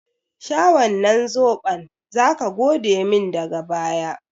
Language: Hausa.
Sha wannan zoɓon! zaka godemin daga baya.